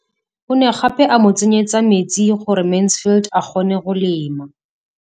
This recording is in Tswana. O ne gape a mo tsenyetsa metsi gore Mansfield a kgone go lema.